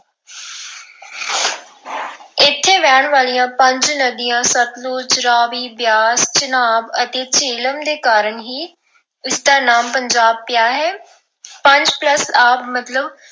ਇੱਥੇ ਵਹਿਣ ਵਾਲਿਆਂ ਪੰਜ ਨਦੀਆਂ, ਸਤਲੁਜ, ਰਾਵੀ, ਬਿਆਸ, ਚਨਾਬ ਅਤੇ ਜੇਹਲਮ ਦੇ ਕਾਰਨ ਹੀ ਇਸਦਾ ਨਾਮ ਪੰਜਾਬ ਪਿਆ ਹੈ। ਪੰਜ plus ਆਬ ਮਤਲਬ।